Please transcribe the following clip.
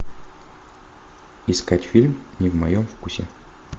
искать фильм не в моем вкусе